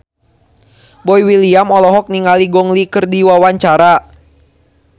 Boy William olohok ningali Gong Li keur diwawancara